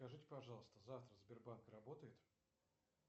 скажите пожалуйста завтра сбербанк работает